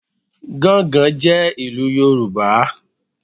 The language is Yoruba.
Gángan jẹ́ ìlú Yorùbá